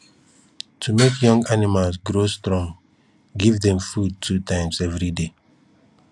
to make young animals grow strong give dem food two times every day